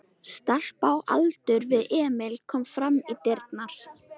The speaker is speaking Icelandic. Stelpa á aldur við Emil kom fram í dyrnar.